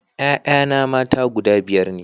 Ƴaƴana mata guda biyar ne